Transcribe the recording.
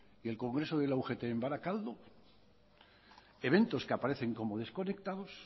y el congreso de la ugt en barakaldo eventos que aparecen como desconectados